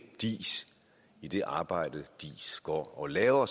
diis i det arbejde diis går og laver